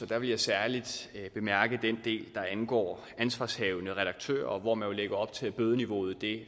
der vil jeg særlig bemærke den del der angår ansvarshavende redaktører hvor man jo lægger op til at bødeniveauet